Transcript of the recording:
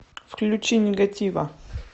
включи нигатива